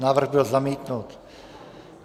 Návrh byl zamítnut.